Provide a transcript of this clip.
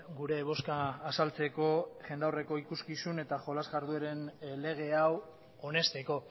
gure bozka azaltzeko jendaurreko ikuskizun eta jolas jardueren lege hau onesteko